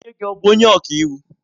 Nne gi bu onye ọka iwu?